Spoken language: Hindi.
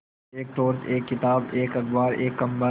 एक टॉर्च एक किताब एक अखबार एक कम्बल